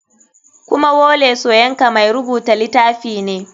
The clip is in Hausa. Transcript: Kuma wole soyinka mai rubuta litafi ne.